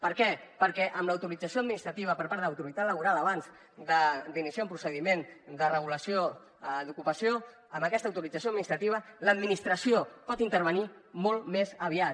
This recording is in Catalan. per què perquè amb l’autorització administrativa per part de l’autoritat laboral abans d’iniciar un procediment de regulació d’ocupació amb aquesta autorització administrativa l’administració pot intervenir molt més aviat